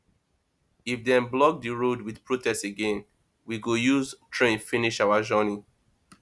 if dem block di road wit protest again we go use train finish our journey